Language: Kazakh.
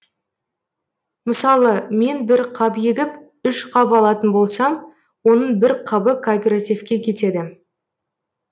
мысалы мен бір қап егіп үш қап алатын болсам оның бір қабы кооперативке кетеді